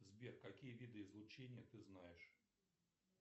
сбер какие виды излучения ты знаешь